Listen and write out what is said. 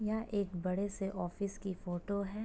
यहाँ एक बड़े से ऑफिस की फोटो है।